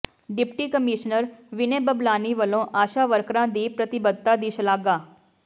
deputy commissioner Vinay Bablani ਵੱਲੋਂ ਆਸ਼ਾ ਵਰਕਰਾਂ ਦੀ ਪ੍ਰਤੀਬੱਧਤਾ ਦੀ ਸ਼ਲਾਘਾ